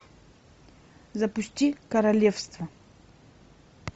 запусти королевство